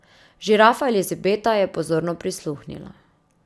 Žirafa Elizabeta je pozorno prisluhnila.